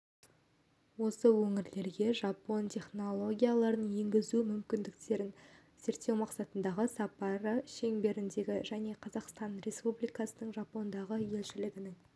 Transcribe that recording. осы өңірлерге жапон технологияларын енгізу мүмкіндіктерін зерттеу мақсатындағы сапары шеңберінде және қазақстан республикасының жапониядағы елшілігінің